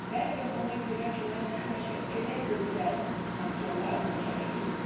Bəlkə ona görə ki, mən həmişə elə gözəl aktyorlarla çəkilirdim.